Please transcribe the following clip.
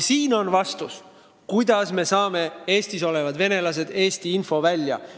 Siin ongi vastus, kuidas me saame Eestis olevad venelased viia Eesti infovälja.